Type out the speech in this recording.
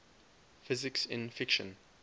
physics in fiction